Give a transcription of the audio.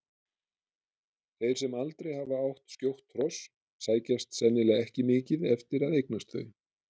Þeir sem aldrei hafa átt skjótt hross sækjast sennilega ekki mikið eftir að eignast þau.